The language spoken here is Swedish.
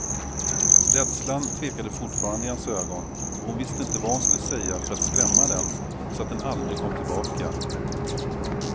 Rädslan tvekade fortfarande i hans ögon och hon visste inte vad hon skulle säga för att skrämma den så att den aldrig kom tillbaka.